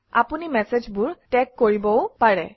আপুনি মেচেজবোৰ টেগ কৰিবও পাৰে